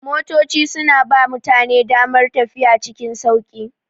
Motoci suna ba mutane damar tafiya cikin sauƙi.